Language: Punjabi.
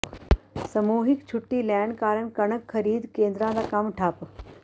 ਸਮੂਹਿਕ ਛੁੱਟੀ ਲੈਣ ਕਾਰਨ ਕਣਕ ਖਰੀਦ ਕੇਂਦਰਾਂ ਦਾ ਕੰਮ ਠੱਪ